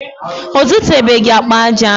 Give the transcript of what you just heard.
Ọ zụtabeghị akpa aja ahụ.